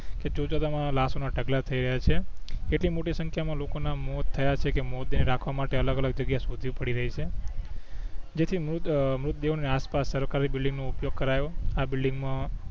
કે જોતજોતામાં લાસો ના ઢગલા થઈ ગયા છે એટલી મોટી સંખ્યા માં લોકો ના મોત થયા છે કે મોરડે રાખવા માટે અલગ અલગ જાગીયા સોંધવી પડી રય છે જે થી મૃત મૃતદેહો ની આસપાસ સરકારી બિલ્ડિંગ નો ઉપયોગ કરાયો આ બિલ્ડિંગ માં